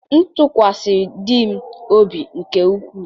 m tụkwasịrị di m obi nke ukwuu.